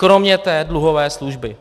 Kromě té dluhové služby.